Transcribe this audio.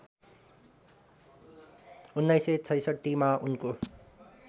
१९६६ मा उनको